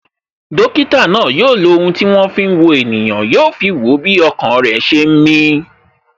Dókítà náà yo lo ohun tí wọn fi ń wo ènìyàn, yo fi wo bí ọkàn rẹ ṣe ń mi